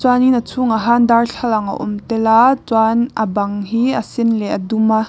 chuanin a chhungah han darthlalang a awm tel a chuan a bang hi a sen leh a dum a.